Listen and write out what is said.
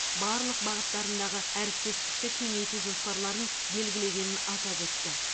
барлық бағыттарындағы әріптестікті кеңейту жоспарларын белгілегенін атап өтті